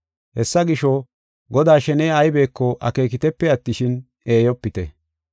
Hessa gisho, Godaa sheney aybeko akeekitepe attishin, eeyopite.